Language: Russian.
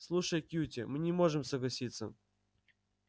слушай кьюти мы не можем согласиться